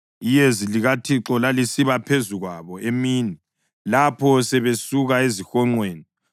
Iyezi likaThixo lalisiba phezu kwabo emini lapho sebesuka ezihonqweni.